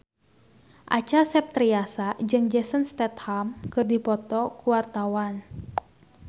Acha Septriasa jeung Jason Statham keur dipoto ku wartawan